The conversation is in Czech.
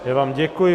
Já vám děkuji.